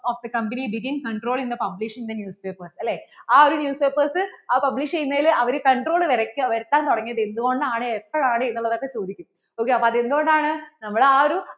of the company did in control in the publish the newspaper ആ ഒരു news papers അത് publish ചെയ്യുന്നതിന് അവർ control വരയ്ക്കാൻ വരുത്താൻ തുടങ്ങിയത് എന്ത്‌കൊണ്ടാണ് എപ്പോഴാണ് എന്ന് ഉള്ളത് ഒക്കെ ചോദിക്കും അപ്പോൾ എന്ത്‌കൊണ്ടാണ് നമ്മൾ ആ ഒരു